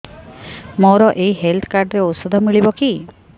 ମୋର ଏଇ health card ରେ ଔଷଧ ମିଳିବ କି